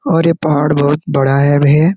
और ये पहाड़ बहुत बड़ा है भे ।